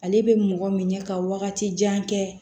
Ale bɛ mɔgɔ minɛ ka wagati jan kɛ